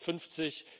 2050.